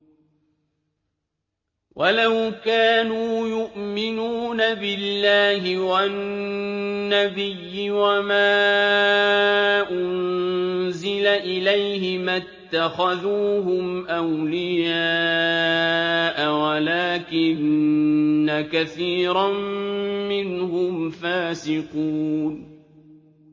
وَلَوْ كَانُوا يُؤْمِنُونَ بِاللَّهِ وَالنَّبِيِّ وَمَا أُنزِلَ إِلَيْهِ مَا اتَّخَذُوهُمْ أَوْلِيَاءَ وَلَٰكِنَّ كَثِيرًا مِّنْهُمْ فَاسِقُونَ